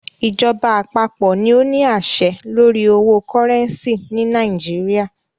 Ìjọba àpapọ̀ ní o ní àṣẹ lórí owo cúrẹ́ncì ni Nàìjíríà.